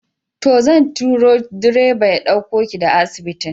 To, zan turo direba ya ɗauko ki daga asibitin.